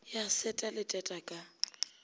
ya seta le teta ka